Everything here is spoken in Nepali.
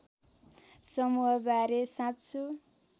समूह बारे साँचो